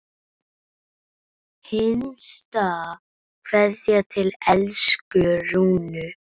HINSTA KVEÐJA Til elsku Rúnu.